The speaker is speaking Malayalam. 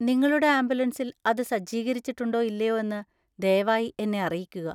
നിങ്ങളുടെ ആംബുലൻസിൽ അത് സജ്ജീകരിച്ചിട്ടുണ്ടോ ഇല്ലയോ എന്ന് ദയവായി എന്നെ അറിയിക്കുക.